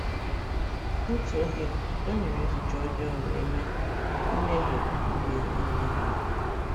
N’otu oge, o nyere n’echiche ọjọọ wee mee mmehie ime ihe n’ahụ.